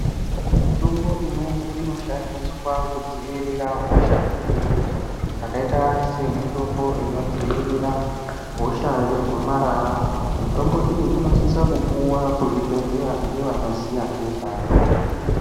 Mitombo imweni inoshandiswa kudziwirira hosha dzimweni, zvakaita semitimbo inodzivirira hosha yegomarara, mitombo iyi inosisa kupuwa kuzvibhedhleya ngewanoziya ngezvayo.